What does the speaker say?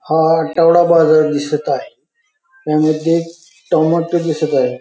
हा आठवडा बाजार दिसत आहे त्यामध्ये एक टमाट दिसत आहे.